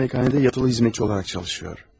Bir malikanədə yatılı xidmətçi olaraq çalışır.